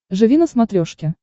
живи на смотрешке